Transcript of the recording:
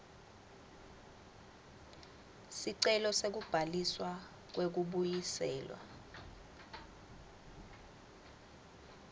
sicelo sekubhaliswa kwekubuyiselwa